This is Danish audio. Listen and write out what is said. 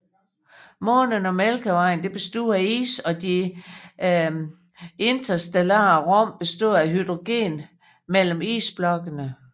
Månen og Mælkevejen bestod af is og at de interstellare rum bestod af hydrogen mellem isblokkene